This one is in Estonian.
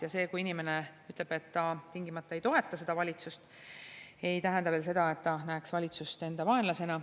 Ja see, kui inimene ütleb, et ta ei toeta seda valitsust, ei tähenda veel tingimata seda, et ta näeks valitsust enda vaenlasena.